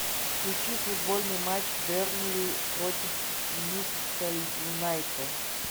включи футбольный матч бернли против ньюкасл юнайтед